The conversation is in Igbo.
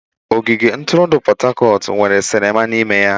Ogige ntụrụndụ Pot Tarcot nwere sinima n'ime.